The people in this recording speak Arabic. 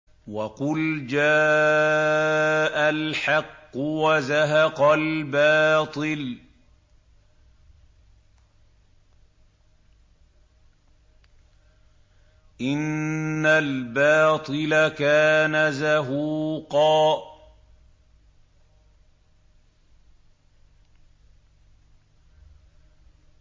وَقُلْ جَاءَ الْحَقُّ وَزَهَقَ الْبَاطِلُ ۚ إِنَّ الْبَاطِلَ كَانَ زَهُوقًا